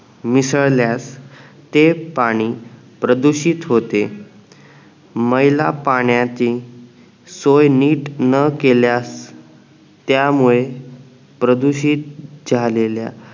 मिसळल्यास ते पाणी प्रदूषित होते मैला पाण्याचे सोय नीट न केल्यास त्या मुळे प्रदूषित झालेल्या